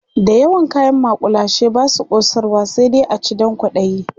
da yawan kayan makullashe Basu kosarwa sai dai a ci Dan kwaɗayi